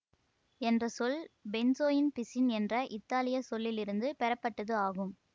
என்ற சொல் பென்சோயின் பிசின் என்ற இத்தாலிய சொல்லிலிருந்து பெறப்பட்டது ஆகும்